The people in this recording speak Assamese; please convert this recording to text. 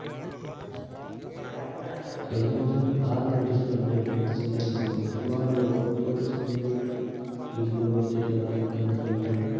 exam ৰ পিছত ভাল practice কৰিম দেই মইও। খেলিম তোমাৰ লগত। তোমাৰ লগৰখিনিৰ লগতো চিনাকি কৰাই দিবা। team টোৰ লগত তেতিয়া ভাল এটা bonding এটা হব।